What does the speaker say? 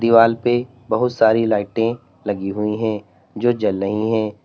Wall पे बहुत सारी लाइटें लगी हुई है जो जल रही है।